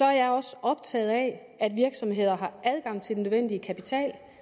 jeg også optaget af at virksomheder har adgang til den nødvendige kapital